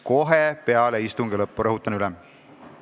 Kohe peale istungi lõppu, rõhutan üle!